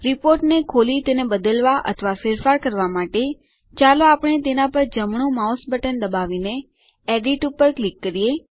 રીપોર્ટને ખોલી તેને બદલવાં અથવા ફેરફાર કરવાં માટે ચાલો આપણે તેના પર જમણું માઉસ બટન દબાવીને એડિટ ઉપર ક્લિક કરીએ